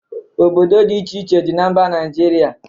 Obodo dị iche iche dị na mba Naịjirịa